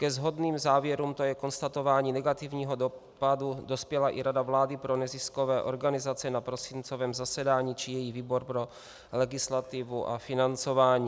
Ke shodným závěrům, to je konstatování negativního dopadu, dospěla i Rada vlády pro neziskové organizace na prosincovém zasedání či její výbor pro legislativu a financování.